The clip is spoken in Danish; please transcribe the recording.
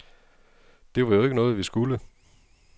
Det var jo ikke noget, vi skulle.